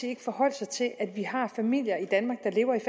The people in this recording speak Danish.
ikke forholde sig til at vi har familier i danmark